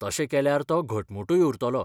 तशें केल्यार तो घटमूटूय उरतलो.